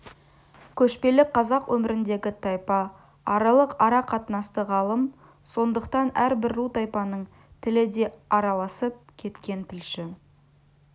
көшпелі қазақ өміріндегі тайпа аралық ара-қатынасты ғалым сондықтан әрбір ру тайпаның тілі де араласып кеткен тілші